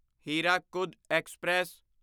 Hirakud express